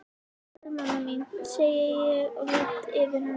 Sæl mamma mín, segi ég og lýt yfir hana.